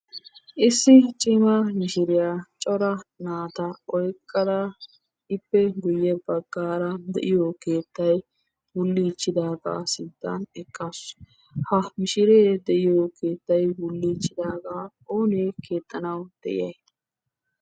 Issi cimma mishiriyaa cora naata oyqqada ippe guye baggaara a de'iyo keettay wulliichchidaaga sinttan eqaasu. Ha mishiree de'iyo keettay wulliichchidaagaa oonee keexxanawu de'iyiya?